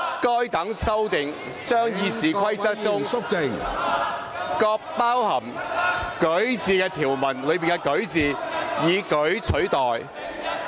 該等修訂將《議事規則》中各包含"擧"字的條文內的"擧"字，以"舉"取代。